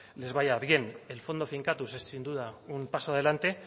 les vaya bien el fondo finkatuz ez sin duda un paso adelante